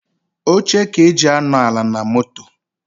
Oche ka eji anọ ala na moto.